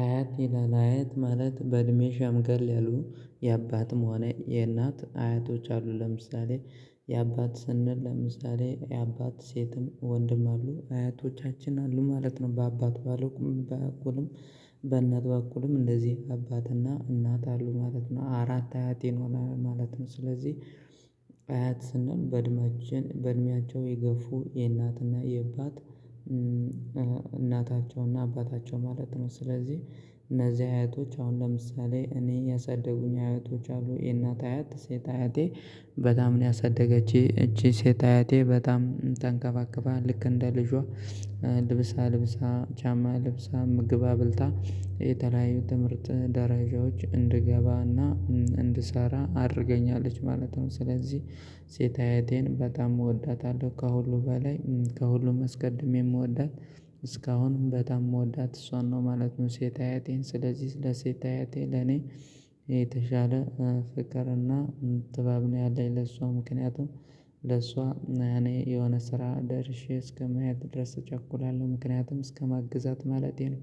"አያት" ይላል፤ አያት ማለት በእድሜ ሸምገል ያሉ፣ የአባትም ሆነ የእናት አያቶች አሉ። ለምሳሌ የአባት ስንል፣ ለምሳሌ የአባት ሴትም ወንድም አሉ፤ አያቶቻችን አሉ ማለት ነው፤ በአባት በኩልም በእናት በኩልም እንደዚሁ አባትና እናት አሉ ማለት ነው፤ አራት አያቶች ሆኑ ማለት ነው፤ ስለዚህ አያት ስንል በእድሜያቸው የገፉ፣ የእናትና የአባት እናታቸውና አባታቸው ማለት ነው፤ ስለዚህ እነዚህ አያቶች፣ አሁን ለምሳሌ እኔን ያሳደጉኝ አያቶች አሉ፤ ይህ የእናት አያት ሴት አያቴ በጣም ነው ያሳደገችኝ፤ ይቺ ሴት አያቴ በጣም ተንከባክባ፣ ልክ እንደ ልጇ ልብስ አልብሳ፣ ጫማ አልብሳ፣ ምግብ አብልታ፣ የተለያዩ የትምህርት ደረጃዎች እንድገባና እንድሰራ አድርጋኛለች ማለት ነው፤ ስለዚህ ሴት አያቴን በጣም እወዳታለሁ፤ ከሁሉ በላይ ከሁሉ አስቀድሜ የምወዳት፣ እስካሁንም በጣም የምወዳት እሷን ነው ማለት ነው፣ ሴት አያቴን፤ ስለዚህ ስለ ሴት አያቴ ለኔ የተሻለ ፍቅርና ክብር ነው ያለኝ ለሷ፤ ምክንያቱም ለሷ እኔ የሆነ ስራ ደርሼ እስከመያዝ ድረስ እቸኩላለሁ፤ ምክንያቱም እስከማገዛት ማለቴ ነው፤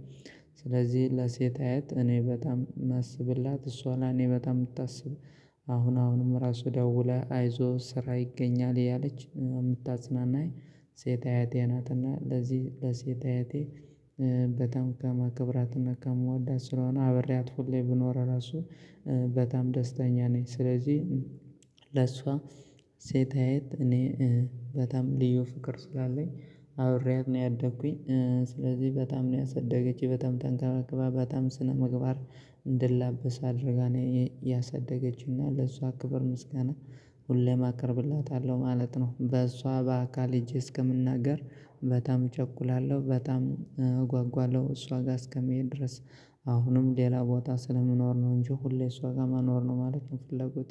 ስለዚህ ለሴት አያቴ እኔ በጣም የማስብላት፣ እሷም ለእኔ በጣም የምታስብ አሁንም ራሱ ደውላ "አይዞህ ስራ ይገኛል" እያለች የምታጽናናኝ ሴት አያቴ ናት፤ እና ለዚህ ለሴት አያቴ በጣም ከማከብራትና ከመውደዴ የተነሳ፣ አብሬያት ሁሌም ብኖር ራሱ በጣም ደስተኛ ነኝ፤ ስለዚህ ለእሷ ሴት አይት እኔ በጣም ልዩ ፍቅር ስላለኝ፣ አብሬያት ነው ያደግሁኝ፤ ስለዚህ በጣም ነው ያሳደገችኝ፤ በጣም ተንከባክባ፣ በጣም ስነ ምግባር እንደተላበስኩ አድርጋ ነው ያሳደገችኝ፤ እና ለእሷ ክብርና ምስጋና ሁሌም አቀርብላታለሁ ማለት ነው፤ በእሷ በአካል ሄጄ እስክናገር በጣም እቸኩላለሁ፤ እሷ ጋር እስከመሄድ ድረስ በጣም እጓጓለሁ። አሁንም ሌላ ቦታ ስለምኖር ነው እንጂ፣ ሁሌ እሷ ጋር መኖር ነው ማለት ነው ፍላጎቴ።